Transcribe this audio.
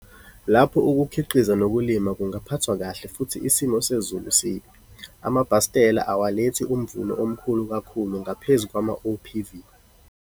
Lapho ukukhiqiza nokulima kungaphathwa kahle futhi isimo sezulu sibi, amabhastela awalethi umvuno omkhulu kakhulu ngaphezu kwamaOPV.